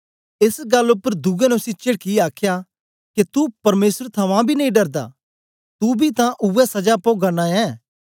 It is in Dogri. एस गल्ल उपर दुए ने उसी चेडकीयै आखया के तू परमेसर थमां बी नेई डरदा तू बी तां उवै सजा पोगा नां ऐं